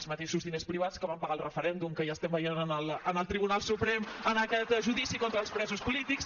els mateixos diners privats que van pagar el referèndum que ja estem veient en el tribunal suprem en aquest judici contra els presos polítics